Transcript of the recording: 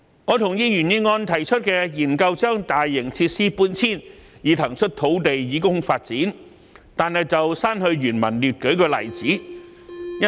我同意原議案提出的建議，研究將大型設施搬遷，以騰出土地以供發展，但我在修正案中刪去原議案列舉大型設施的例子。